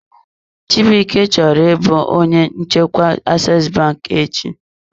Chibuike chọrọ ịbụ onye njikwa Aseesi banki echi.